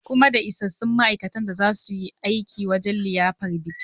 Kuma da isassun ma'aikata da za su yi aiki wajan liyafar bikin?